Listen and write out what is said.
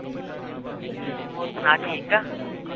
ਹੋਰ ਸੁਣਾ ਠੀਕ ਆ